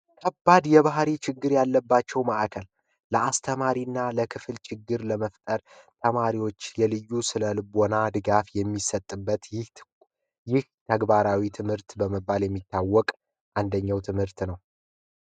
ከባድ የባህሪይ ችግር ያለባቸው ማዕከል ለአስተማሪ እና ለክፍል ችግር ለመፍጠር ለተማሪዎች የልዩ ስነልቦና ድጋፍ የሚሰጥበት ይህ ተግባራዊ ትምህርት በመባል የሚታወቅ አንደኛው ትምህርት ነው።